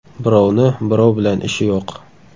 Birovni birov bilan ishi yo‘q.